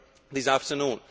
this afternoon.